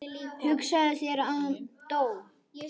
Hugsaðu þér, hann dó.